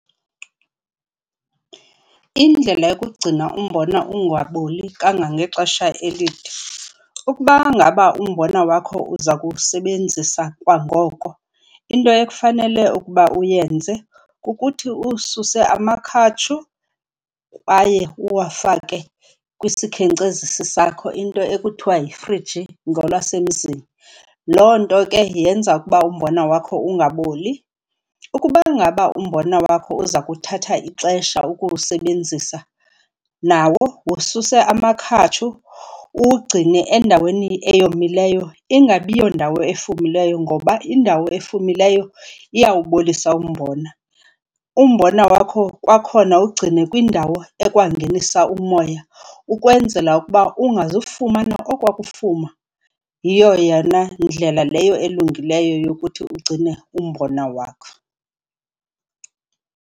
Indlela yokugcina umbona ungaboli kangangexesha elide, ukuba ngaba umbona wakho uza kuwusebenzisa kwangoko, into ekufanele ukuba uyenze kukuthi uwususe amakhatshu kwaye uwafake kwisikhenkcezisi sakho, into ekuthiwa yifriji ngolwasemzini. Loo nto ke yenza ukuba umbona wakho ungaboli. Ukuba ngaba umbona wakho uza kuthatha ixesha ukuwusebenzisa, nawo wususe amakhatshu uwugcine endaweni eyomileyo. Ingabi yondawo efumileyo ngoba indawo efumileyo iyawubolisa umbona. Umbona wakho kwakhona wugcine kwindawo ekwangenisa umoya ukwenzela ukuba ungazifumana okwaa kufuma, yiyo yona ndlela leyo elungileyo yokuthi ugcine umbona wakho.